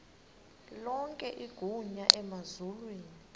lonke igunya emazulwini